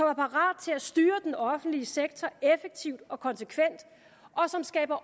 er parat til at styre den offentlige sektor effektivt og konsekvent og som skaber